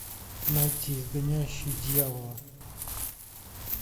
найти изгоняющий дьявола